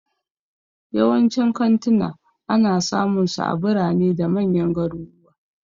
Yawancin kantuna ana samunsu a birane da manyan garuruwa.